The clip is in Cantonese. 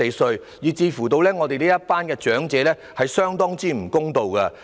如果政府完全不考慮，對長者很不公道。